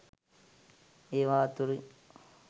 ඒවා අතුරින්